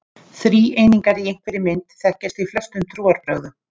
Þríeiningar í einhverri mynd þekkjast í flestum trúarbrögðum.